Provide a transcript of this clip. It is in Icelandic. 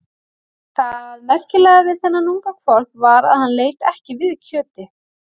Það merkilega við þennan unga hvolp var að hann leit ekki við kjöti.